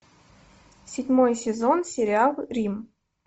седьмой сезон сериал рим